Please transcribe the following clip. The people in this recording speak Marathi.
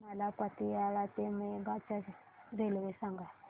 मला पतियाळा ते मोगा च्या रेल्वे सांगा